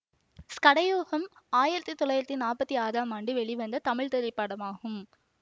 சகடயோகம் ஆயிரத்தி தொள்ளாயிரத்தி நாற்பத்தி ஆறாம் ஆண்டு வெளிவந்த தமிழ் திரைப்படமாகும்